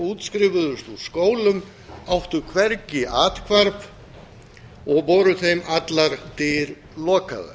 útskrifuðust úr skólum áttu hvergi athvarf og voru þeim allar dyr lokaðar